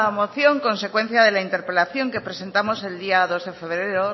moción consecuencia de la interpelación que presentamos el día dos de febrero